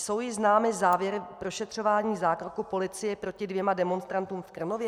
Jsou již známy závěry prošetřování zákroku policie proti dvěma demonstrantům v Krnově?